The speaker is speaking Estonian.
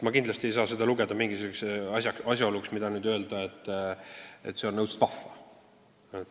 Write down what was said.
Ma kindlasti ei saa seda pidada asjaoluks, mille kohta saab öelda, et see on õudselt vahva.